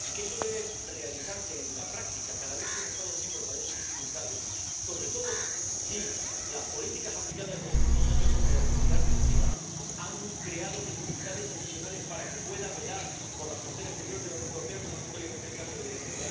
y que esto debe realizarse en la práctica cada vez que un Estado miembro padece dificultades, sobre todo si las políticas aplicadas en los últimos años, como la austeridad recesiva, han creado dificultades adicionales para que pueda velar por la frontera exterior de la Unión Europea, como es notoriamente el caso de Grecia.